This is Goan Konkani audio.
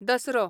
दसरो